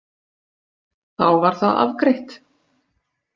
Þá var það afgreitt!